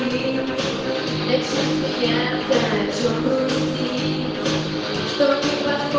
теперь у меня все материальное целых сто пятнадцать